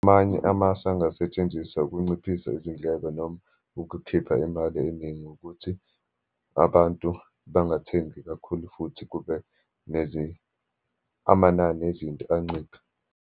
Amanye amasu angasetshenziswa ukunciphisa izindleko, noma ukukhipha imali eningi, ukuthi abantu bangathengi kakhulu, futhi kube amanani ezinto anciphe.